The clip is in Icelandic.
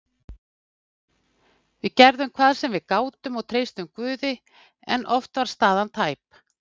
Við gerðum hvað við gátum og treystum Guði en oft var staðan tæp.